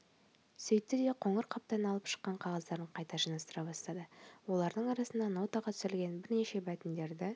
сөйтті де қоңыр қаптан алып шыққан қағаздарын қайта жинастыра бастады олардың арасында нотаға түсірілген бірнеше мәтіндерді